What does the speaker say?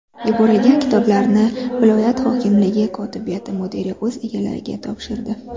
Yuborilgan kitoblarni viloyat hokimligi kotibiyati mudiri o‘z egalariga topshirdi.